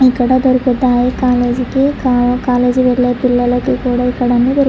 ఇక్కడ దొరుకుతాయి. కాలేజీ వెళ్ళే పిల్లలకి కూడా ఇక్కడ అన్ని దొరుకు--